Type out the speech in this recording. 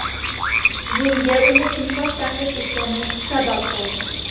Bunga uni timsoh ta’qib etgani sabab bo‘ldi.